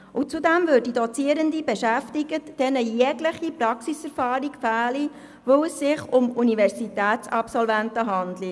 Zudem würden Dozierende beschäftigt, denen jegliche Praxiserfahrung fehle, weil es sich um Absolventen der Universität handle.